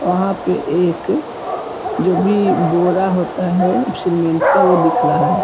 वहाँ पे एक जो भी बोरा होता है सीमेंट का वो दिख रहा है ।